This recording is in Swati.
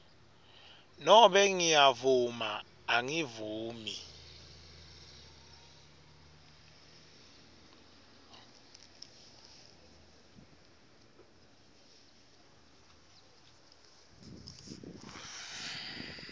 nobe ngiyavuma angivumi